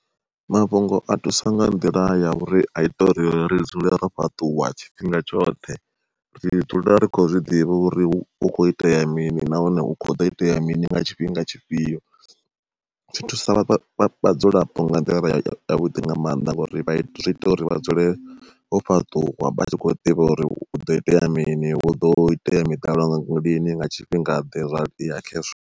Mafhungo a thusa nga nḓila ya uri a ita uri ri dzule ro fhaṱuwa tshifhinga tshoṱhe, ri dzula rikho zwiḓivha uri hu kho itea mini nahone hu kho ḓo itea mini nga tshifhinga tshifhio. Zwi thusa vhadzulapo nga nḓila yavhuḓi nga maanḓa ngori zwi ita uri vha dzule vho fhaṱuwa vha tshi khou ḓivha uri huḓo itea mini, huḓo itea miḓalo lini nga tshifhinga ḓe zwa ya khezwo.